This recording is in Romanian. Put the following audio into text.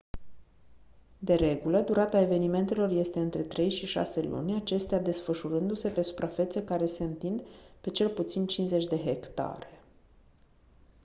de regulă durata evenimentelor este între trei și șase luni acestea desfășurându-se pe suprafețe care se întind pe cel puțin 50 de hectare